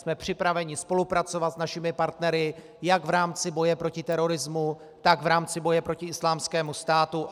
Jsme připraveni spolupracovat s našimi partnery jak v rámci boje proti terorismu, tak v rámci boje proti Islámskému státu.